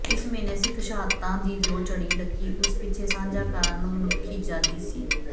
ਇਸ ਮਹੀਨੇ ਸਿੱਖ ਸ਼ਹਾਦਤਾਂ ਦੀ ਜੋ ਝੜੀ ਲੱਗੀ ਉਸ ਪਿੱਛੇ ਸਾਂਝਾ ਕਾਰਨ ਮਨੁੱਖੀ ਅਜ਼ਾਦੀ ਸੀ